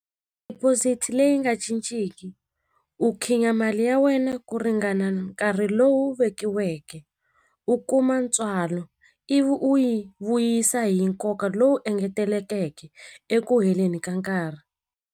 leyi nga cinciki u mali ya wena ku ringana nkarhi lowu vekiweke u kuma ntswalo ivi u yi vuyisa hi nkoka lowu engetelekeke eku heleni ka nkarhi.